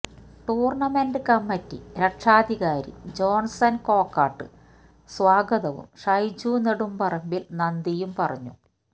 tournament committee രക്ഷാധികാരി Johnson Kokkat സ്വാഗതവും ഷൈജു നെടുംപറമ്പിൽ നന്ദിയും പറഞ്ഞു